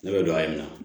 Ne bɛ don a ye nin na